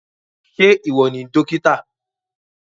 Ṣé ìwọ ni dókítà?